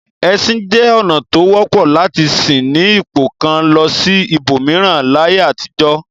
Ẹṣin jẹ́ ọ̀nà tó wọ́pọ̀ lati ṣí ní ipò kan lọ sí ibòmíràn láyé àtijọ́.